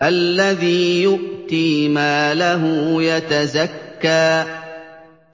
الَّذِي يُؤْتِي مَالَهُ يَتَزَكَّىٰ